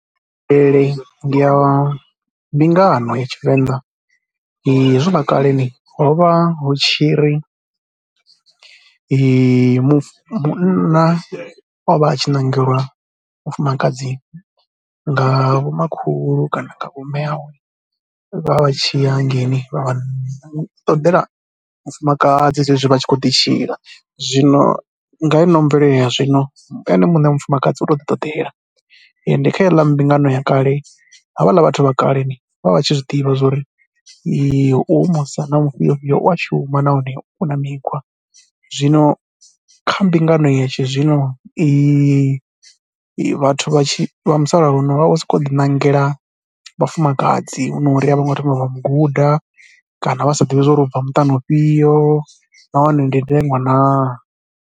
Ndi ya, ndi nga ha maitele, hezwiḽa kale ho vha hu tshi ri mufu, munna o vha a tshi ṋangelwa mufumakadzi nga vhomakhulu kana nga vhomme awe. Vho vha vha tshi ya hangeini vha ṱodela mufumakadzi zwezwi vha tshi kho ḓi tshila zwino nga he ino mvelele ya zwino ene muṋe mufumakadzi u to ḓi ṱoḓela ende kha heiḽa mbingano ya kale ha vhaḽa vhathu vha kaleni vho vha tshi zwi ḓivha zwo ri hoyu musidzana mufhio fhio u a shuma nahone u na mikhwa. Zwino kha mbingano ya tshi zwino i vhathu vha tshi, vha musalauno vha vho sokou ḓiṋangela vhafumakadzi hu no uri a vho ngo thoma vha mu guda kana vha sa ḓivhi zwa uri u bva muṱani ufhio nahone ndi ndeṅwa naa.